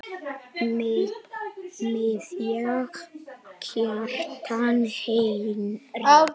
Miðja: Kjartan Henry